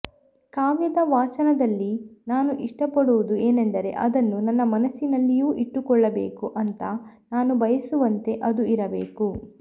ಕಾವ್ಯದ ವಾಚನದಲ್ಲಿ ನಾನು ಇಷ್ಟಪಡುವುದು ಏನೆಂದರೆ ಅದನ್ನು ನನ್ನ ಮನಸ್ಸಿನಲ್ಲಿಯೂ ಇಟ್ಟುಕೊಳ್ಳಬೇಕು ಅಂಥ ನಾನು ಬಯಸುವಂತೆ ಅದು ಇರಬೇಕು